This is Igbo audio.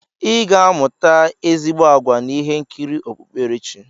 I ga-amụta ezigbo àgwà na ihe nkiri okpukperechi.